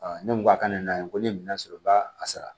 ne ko a ka ne na ye ko ne ye minɛn sɔrɔ u b'a a sara